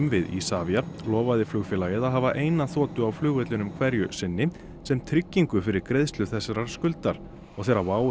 við Isavia lofaði flugfélagið að hafa eina þotu á flugvellinum hverju sinni sem tryggingu fyrir greiðslu þessarar skuldar og þegar WOW